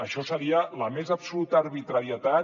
això seria la més absoluta arbitrarietat